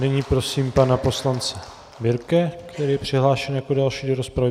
Nyní prosím pana poslance Birke, který je přihlášen jako další do rozpravy.